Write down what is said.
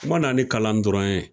O ma na ni kalan dɔrɔn ye